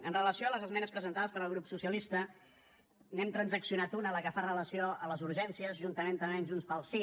amb relació a les esmenes presentades pel grup socialista n’hem transaccionada una la que fa relació a les urgències juntament també amb junts pel sí